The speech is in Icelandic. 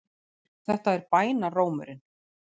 Þetta er bænarrómurinn.